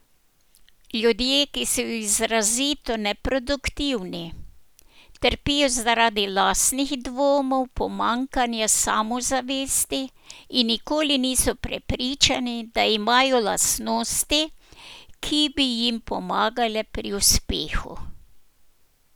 Ljudje, ki so izrazito neproduktivni, trpijo zaradi lastnih dvomov, pomanjkanja samozavesti in nikoli niso prepričani, da imajo lastnosti, ki bi jim pomagale pri uspehu.